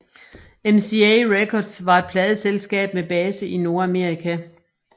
MCA Records var et pladeselskab med base i Nordamerika